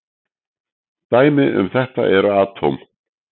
Dæmi um þetta eru atóm.